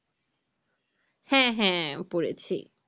হ্যাঁ হ্যাঁ আমি পড়েছি